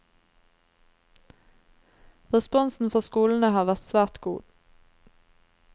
Responsen fra skolene har vært svært god.